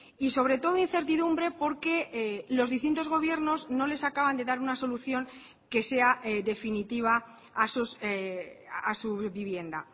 y sobre todo incertidumbre porque los distintos gobiernos no les acaban de dar una solución que sea definitiva a su vivienda